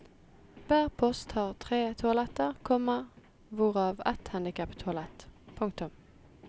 Hver post har tre toaletter, komma hvorav ett handicaptoalett. punktum